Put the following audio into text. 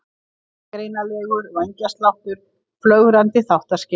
Illgreinanlegur vængjasláttur, flögrandi þáttaskil.